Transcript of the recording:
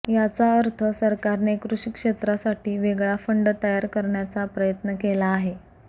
याचा अर्थ सरकारने कृषी क्षेत्रासाठी वेगळा फंड तयार करण्याचा प्रयत्न केला आहे